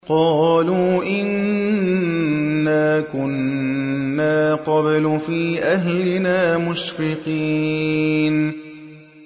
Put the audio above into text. قَالُوا إِنَّا كُنَّا قَبْلُ فِي أَهْلِنَا مُشْفِقِينَ